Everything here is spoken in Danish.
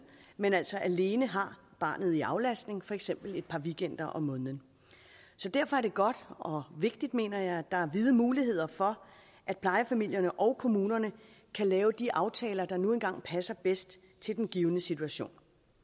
men altså alene har barnet i aflastning for eksempel et par weekender om måneden derfor er det godt og vigtigt mener jeg at der er vide muligheder for at plejefamilierne og kommunerne kan lave de aftaler der nu engang passer bedst til den givne situation